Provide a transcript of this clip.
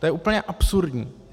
To je úplně absurdní.